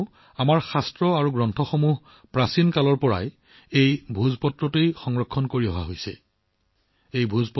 কাৰণ অতীজৰে পৰা এই ভোজপাত্ৰবোৰত আমাৰ শাস্ত্ৰগ্ৰন্থ সঞ্চয় হৈ আছে